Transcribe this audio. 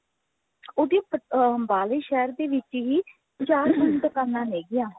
ਉਹਦੀ ਅੰਬਾਲੇ ਸ਼ਹਿਰ ਦੇ ਵਿੱਚ ਹੀ ਚਾਰ ਤਿੰਨ ਦੁਕਾਨਾ ਹੈਗਿਆ